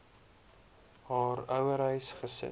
haar ouerhuis gesit